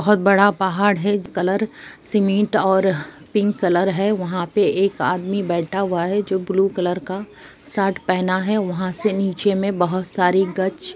बहुत बड़ा पहाड़ है कलर सिमेन्ट और पिंक कलर है वहा पे एक आदमी बैठा हुवा है जो ब्लू कलर का शर्ट पहना है वहा से नीचे मे बहुत सारी गच्छ--